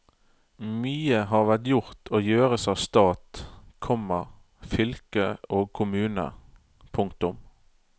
Mye har vært gjort og gjøres av stat, komma fylke og kommune. punktum